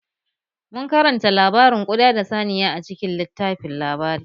Mun karanta labarin ƙuɗa da saniya a cikin littafin labari